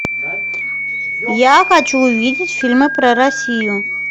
я хочу увидеть фильмы про россию